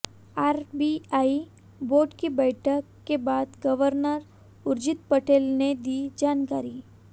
RBI board की बैठक के बाद गवर्नर उर्जित पटेल ने दी जानकारी